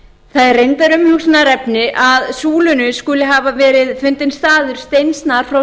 ári það er reyndar umhugsunarefni að súlunni skuli hafa verið fundinn staður steinsnar frá